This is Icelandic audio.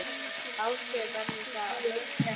Ásgeir: Verður þetta hörð keppni?